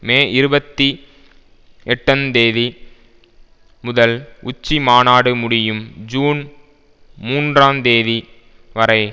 மே இருபத்தி எட்டந் தேதி முதல் உச்சி மாநாடு முடியும் ஜூன் மூன்றாந்தேதி வரை